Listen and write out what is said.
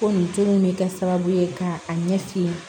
Ko nin joli in bɛ kɛ sababu ye ka a ɲɛsin